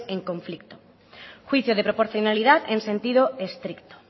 en conflicto juicio de proporcionalidad en sentido estricto